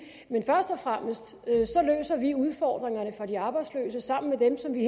men først og fremmest løser vi udfordringerne for de arbejdsløse sammen med dem som vi